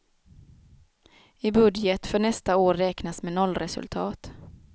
I budget för nästa år räknas med nollresultat.